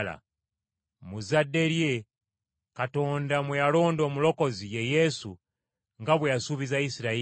“Mu zzadde lye, Katonda mwe yalonda Omulokozi, ye Yesu, nga bwe yasuubiza Isirayiri.